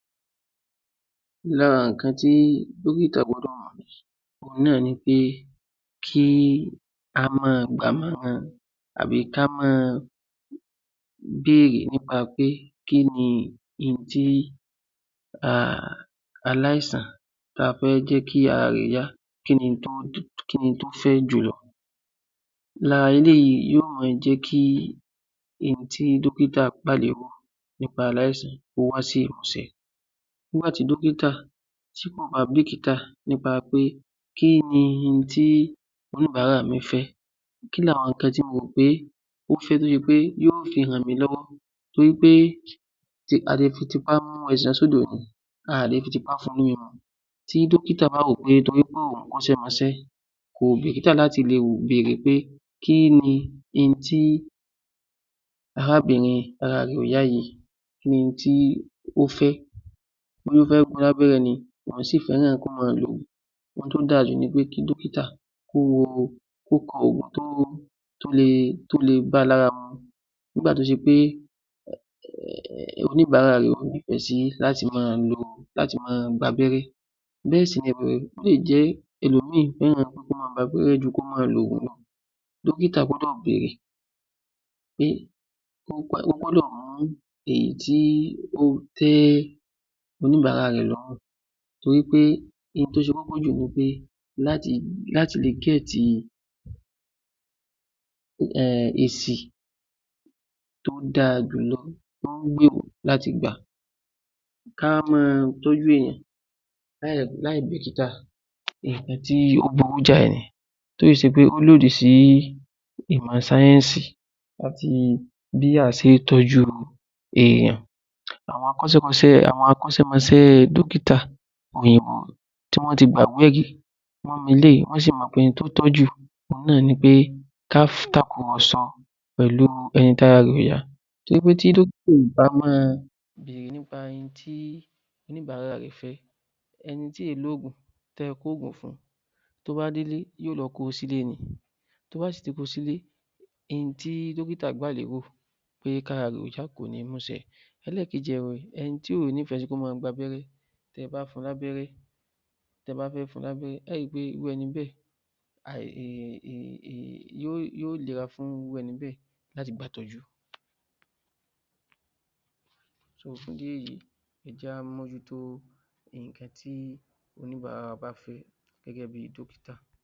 ‎Lára nǹkan tí ó lè náà ni pé ká máa gbà ọ̀ràn tàbí kí á máa béèrè wí pé kí ni ohun tí aláìsàn ta fẹ́ jẹ́ kí ara rẹ yá kí ni ohun tó fẹ́ jùlọ lára eléyìí ni yóò máa jẹ́ kí ohun tí dókítà nípa aláìsàn kó wá sí ìmúṣẹ nígbà tí dókítà kò bá bìkítà nípa pé kí ni ohun tí oníbàárà mi fẹ́ kí ni àwọn ohun tí mo mọ̀ wí pé ó fẹ́ tí ó fi jẹ́ wí pé yóò fi ràn mí lọ́wọ́ torí pé a le fi tipá mú ẹja lọ sódò a ò le fi tipá fún un lómi mu, tí dókítà bá wò ó wí pé torí òhun kọ́ṣẹ́ mọṣẹ́ kò bìkítà láti lọ bèèrè pé kí ni ohun tí arábìnrin tí ara rẹ ò yá yìí, kí ni ohun tí ó fẹ́ bóyá ó fẹ́ fún un ní Lábẹ́rẹ́ ni tàbí ó fẹ́ kí ó máa lògùn? Ohun tí ó dá a jù ni pé kí dókítà kó kọ òògùn tó le bá a lára mu nígbà tí ó ṣe pé oníbàárà rẹ kò nífẹ̀ẹ́ sí láti máa gba abẹ́rẹ́ bẹ́ẹ̀ sì ni ó lè jẹ́ ẹlòmíì tí ènìyàn kò nífẹ̀ẹ́ sí láti máa gba abẹ́rẹ́ ju kí ó máa lo òògùn lọ, dókítà gbọ́dọ̀ béèrè pé, ó gbọdọ̀ mú èyí tí ó tẹ́ oníbàárà rẹ lọ́rùn torí pé ohun tí ó ṣe kókó jù ni pé láti lọ èsì tó dára jù lọ tó ń gbèèrò láti gbà, ká máa tọ́jú ènìyàn láì bìkítà nǹkan tó burú jáì ni tó sì ṣe pé ó lòdì sí ìmọ̀ sáyẹ́nsì wá fi bí a ṣe ń tọ́jú èèyàn àwọn akọ́ṣẹ́mọṣẹ́ dókítà òyìnbó tí wọ́n ti gbà wọ́n mú eléyìí wọ́n sì mọ ohun tí ó tọ́ jù nítorí pé ká komọ̀sọ pẹ̀lú ẹni tí ara rẹ̀ kò yá pé tí dókítà kò bá máa bèèrè nípa ohun tí oníbàárà rẹ fẹ́, ẹni tí kì í lo òògùn tí ẹ kó òògùn fún tó bá délé yóò lọ kó o sílẹ́ ni tó bá sì ti kó o sílé ẹni tí dókítà kí ara rẹ yá kò ní mú ú ṣe, elẹ́ẹ̀kejì ẹ̀wẹ̀, ẹni tí kò nífẹ̀ẹ́ sí kó máa gba rẹ́rẹ́, tí ẹ bá fún un Lábẹ́rẹ́, tí ẹ bá fẹ́ fún un Lábẹ́rẹ́, irú ẹni bẹ́ẹ̀ yóò nira fún irú ẹni bẹ́ẹ̀ láti gba ìtọ́jú ẹ jẹ́ kí á móhútó nǹkan tí a bá fẹ́ gẹ́gẹ́ bíi dókítà.